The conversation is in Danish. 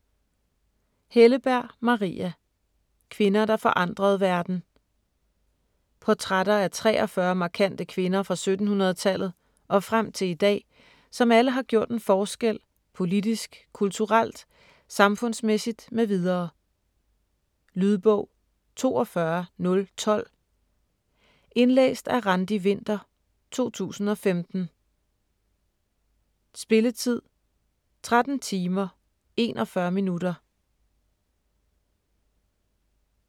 Helleberg, Maria: Kvinder der forandrede verden Portrætter af 43 markante kvinder fra 1700-tallet og frem til i dag, som alle har gjort en forskel politisk, kulturelt, samfundsmæssigt mv. Lydbog 42012 Indlæst af Randi Winther, 2015. Spilletid: 13 timer, 41 minutter.